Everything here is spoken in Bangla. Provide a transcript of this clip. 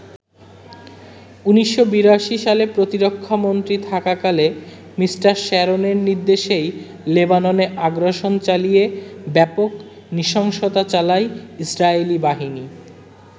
১৯৮২ সালে প্রতিরক্ষা মন্ত্রী থাকাকালে মি. শ্যারনের নির্দেশেই লেবাননে আগ্রাসন চালিয়ে ব্যাপক নৃশংসতা চালায় ইসরায়েলী বাহিনী।